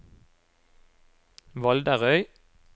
Valderøy